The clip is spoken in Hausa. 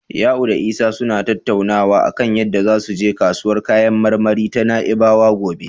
Ya'u da Isa suna tattaunawa a kan yadda zasu je kasuwar kayan marmari ta Na'ibawa gobe.